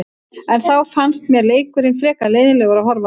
En þá fannst mér leikurinn frekar leiðinlegur að horfa á.